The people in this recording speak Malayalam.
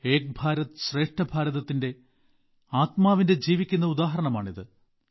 ഏക് ഭാരത് ശ്രേഷ്ഠ ഭാരതത്തിന്റെ ആത്മാവിന്റെ ജീവിക്കുന്ന ഉദാഹരണമാണിത്